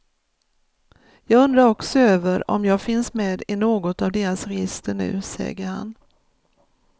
Jag undrar också över om jag finns med i något av deras register nu, säger han.